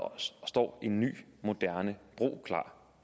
står en ny moderne bro klar